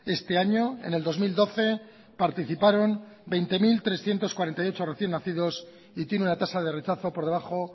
este año en el dos mil doce participaron veinte mil trescientos cuarenta y ocho recién nacidos y tiene una tasa de rechazo por debajo